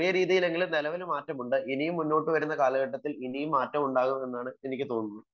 ചെറിയ രീതിയിലെങ്കിലും മാറ്റമുണ്ടാകും. ഇനിയും മുന്നോട്ട് വരുന്ന കാലഘട്ടത്തിൽ മാറ്റമുണ്ടാവുമെന്നാണ് എനിക്ക് തോന്നുന്നത്